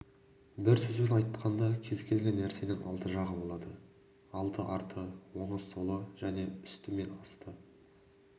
бір сөзбен айтқанда кез-келген нәрсенің алты жағы болады алды-арты оңы-солы және үсті мен асты